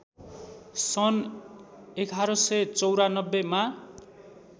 सन् ११९४ मा